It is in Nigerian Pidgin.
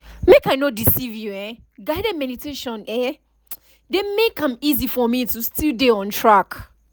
make i no deceive you[um]guided meditation eh dey make am easy for me to still dey on track